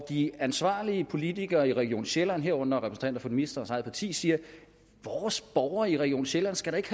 de ansvarlige politikere i region sjælland herunder repræsentanter for ministerens eget parti siger vores borgere i region sjælland skal da ikke